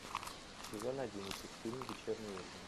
сезон одиннадцать фильм вечерний ургант